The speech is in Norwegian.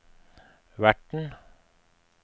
verten